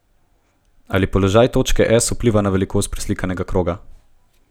Ali položaj točke S vpliva na velikost preslikanega kroga?